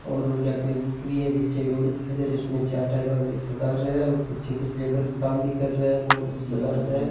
और उनके अपनी एक बुक भी है पीछे एक रोड दिखाई दे रहा है उसमें चार टायर वाला एक रिक्सा दार है और पीछे कुछ लेबर काम भी कर रहे है बोल्ट कुछ लगा रखा है।